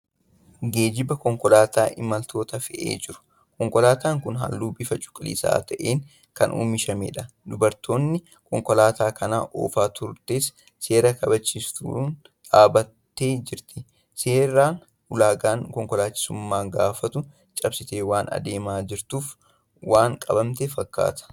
Geejjiba konkolaataa imaltoota fe'ee jiru. Konkolaataan kun halluu bifa cuquliisa ta'een kan oomishamedha. Dubartiin konkolaataa kana oofaa turtes seera kabachiiftotaan dhaabattee jirti. Seera ulaagaan konkolaachisummaa gaafatu cabsitee waan adeemaa jirtuuf waan qabamte fakkaata.